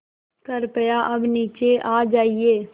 कृपया अब नीचे आ जाइये